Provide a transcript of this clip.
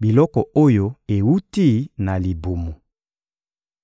biloko oyo ewuti na libumu.